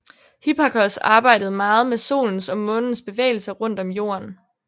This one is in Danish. Hipparchos arbejdede meget med Solens og Månens bevægelser rundt om Jorden